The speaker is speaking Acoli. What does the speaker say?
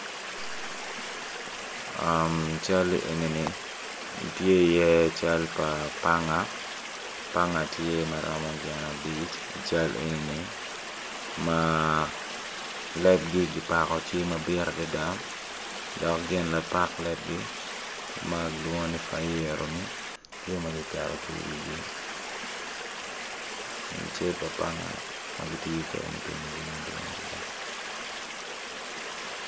Cal enini tye iye cal pa panga panga tye ma romo gin abic cal enini ma lebgi kipako tye mabit adada dok gin lapak lebgi ma kilwongo ni fayiro ni tye ma kiketo ki iwigi cal pa panga ma kitiyo kwede me timo jami madwong adada.